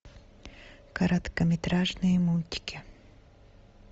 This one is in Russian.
короткометражные мультики